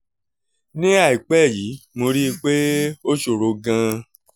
ní àìpẹ́ yìí mo rí i pé ó ṣòro gan-an